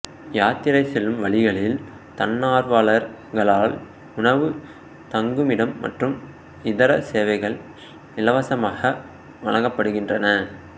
யாத்திரை செல்லும் வழிகளில் தன்னார்வலர்களால் உணவு தங்குமிடம் மற்றும் இதர சேவைகள் இலவசமாக வழங்கப்படுகின்றன